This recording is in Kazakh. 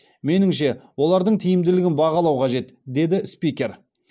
меніңше олардың тиімділігін бағалау қажет деді спикер